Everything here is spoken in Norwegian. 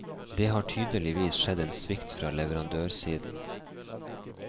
Det har tydeligvis skjedd en svikt fra leverandørsiden.